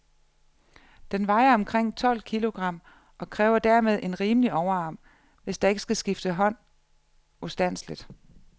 Den vejer omkring tolv kilogram, og kræver dermed en rimelig overarm, hvis der ikke skal skifte hånd ustandseligt.